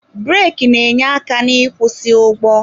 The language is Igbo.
Breki na-enye aka n'ịkwụsị ụgbọ